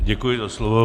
Děkuji za slovo.